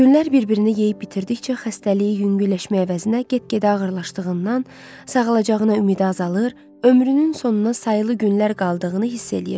Günlər bir-birini yeyib bitirdikcə xəstəliyi yüngülləşmək əvəzinə get-gedə ağırlaşdığından, sağalacağına ümidi azalır, ömrünün sonuna sayılı günlər qaldığını hiss eləyirdi.